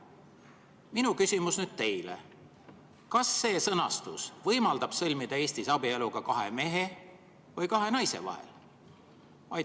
Minu küsimus teile on: kas see sõnastus võimaldab sõlmida Eestis abielu ka kahe mehe või kahe naise vahel?